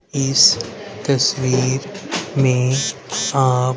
इस तस्वीर में आम--